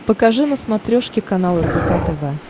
покажи на смотрешке канал рбк тв